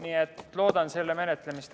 Nii et loodan selle menetlemist.